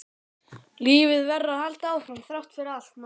Lífið verður að halda áfram þrátt fyrir allt, manstu?